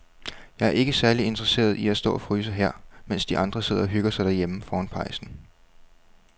Jeg er ikke særlig interesseret i at stå og fryse her, mens de andre sidder og hygger sig derhjemme foran pejsen.